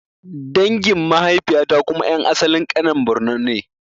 Dangin mahaifiya ta kuma ƴan asalin Kanen Bornn ne